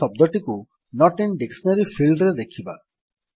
ଆମେ ଶବ୍ଦଟିକୁ note in dictionary field ରେ ଦେଖିବା